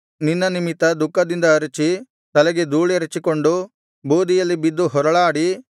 ನಿನ್ನ ನಿಮಿತ್ತ ದುಃಖದಿಂದ ಅರಚಿ ತಲೆಗೆ ಧೂಳೆರಚಿಕೊಂಡು ಬೂದಿಯಲ್ಲಿ ಬಿದ್ದು ಹೊರಳಾಡಿ